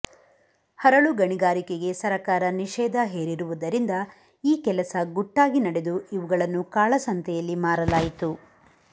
ಹರಳುಗಣಿಗಾರಿಕೆಗೆ ಸರಕಾರ ನಿಷೇಧ ಹೇರಿರುವುದರಿಂದ ಈ ಕೆಲಸ ಗುಟ್ಟಾಗಿ ನಡೆದು ಇವುಗಳನ್ನು ಕಾಳಸಂತೆಯಲ್ಲಿ ಮಾರಲಾಯಿತು